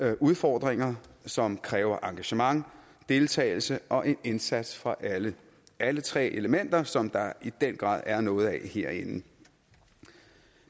har udfordringer som kræver engagement deltagelse og en indsats fra alle alle tre elementer som der i den grad er noget af herinde